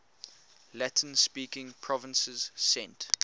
latin speaking provinces sent